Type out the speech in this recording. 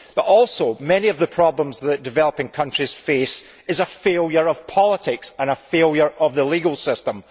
But also many of the problems that developing countries face result from a failure of politics and a failure of the legal system.